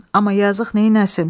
Amma yazıq neyləsin?